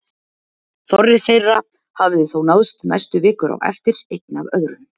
Þorri þeirra hafði þó náðst næstu vikur á eftir, einn af öðrum.